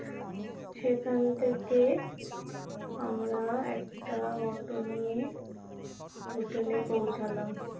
সেখান থেকে আমরা একটা অটো নিয়ে Hotel এ পৌঁছালাম